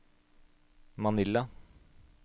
Manila